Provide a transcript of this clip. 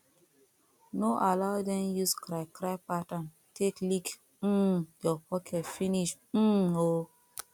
no allow dem use cry cry pattern take lick um yur pocket finish um o